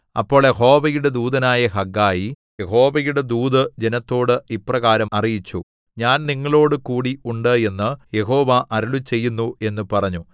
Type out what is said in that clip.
അപ്പോൾ യഹോവയുടെ ദൂതനായ ഹഗ്ഗായി യഹോവയുടെ ദൂത് ജനത്തോട് ഇപ്രകാരം അറിയിച്ചു ഞാൻ നിങ്ങളോട് കൂടി ഉണ്ട് എന്ന് യഹോവ അരുളിച്ചെയ്യുന്നു എന്ന് പറഞ്ഞു